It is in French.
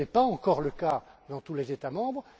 Ce n'est pas encore le cas dans tous les États membres.